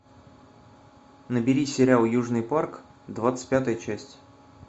набери сериал южный парк двадцать пятая часть